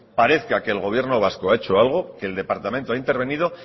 parezca que el gobierno vasco ha hecho algo que el departamento ha intervenido